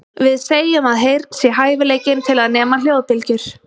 Við segjum að heyrn sé hæfileikinn til að nema hljóðbylgjur.